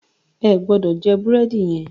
Ẹ gbọ́dọ̀ jẹ búrẹ́dì yẹn!